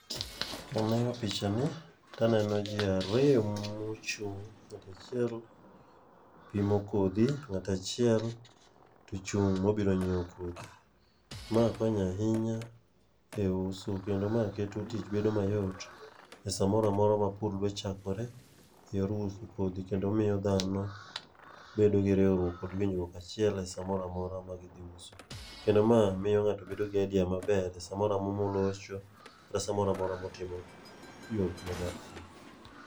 Kaneno pichani taneno ji ariyo mochung',ng'ato achiel pimo kodhi ,ng'ato achiel to ochung' mobiro nyiewo kodhi. Ma konyo ahinya e uso kendo ma keto tich bedo mayot e sa mora mora ma pur dwa chakore e yor uso kodhi kendo omiyo dhano bedo gi riwruok kod winjruok achiel e sa mora mora ma gidhi uso. Kendo ma miyo ng'ato bedo gi idea maber e samora mora molocho kata sa mora mora motiyo gi yo